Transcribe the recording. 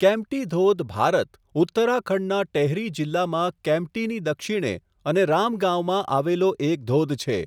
કેમ્પ્ટી ધોધ, ભારત, ઉત્તરાખંડનાં ટેહરી જિલ્લામાં કેમ્પ્ટીની દક્ષિણે અને રામ ગાંવમાં આવેલો એક ધોધ છે.